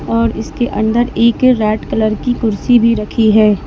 और इसके अंदर एक रेड कलर की कुर्सी भी रखी है।